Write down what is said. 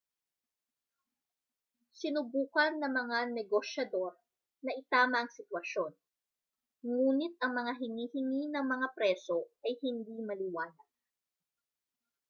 sinubukan ng mga negosyador na itama ang sitwasyon nguni't ang mga hinihingi ng mga preso ay hindi maliwanag